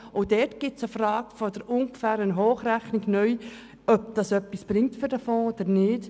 Auch dort gilt es eine neue Hochrechnung anzustellen und zu beurteilen, ob diese Mittel für den Fonds etwas bringen oder nicht.